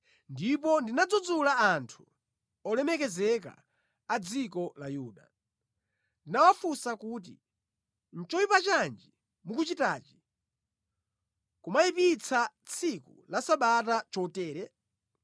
Ndipo ndinadzudzula anthu olemekezeka a dziko la Yuda. Ndinawafunsa kuti, “Nʼchoyipa chanji mukuchitachi, kumayipitsa tsiku la Sabata chotere?